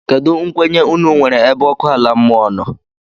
Kedu nkwenye unu nwéré ebe ọkụ ala mmụọ nọ?